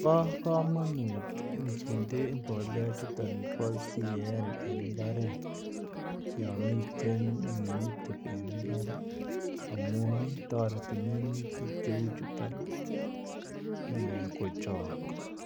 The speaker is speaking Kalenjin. Bo kamanut nginde mbolea chuton bo CAN en imbaret, yo miten minutik en imbar ii amun ii, toreti minutik cheu chuton kochok,